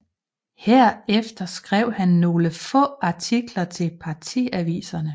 Herefter skrev han nogle få artikler til partiaviserne